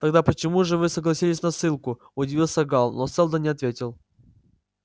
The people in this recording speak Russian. тогда почему же вы согласились на ссылку удивился гаал но сэлдон не ответил